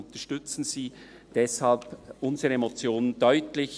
Unterstützen Sie deshalb unsere Motion deutlich.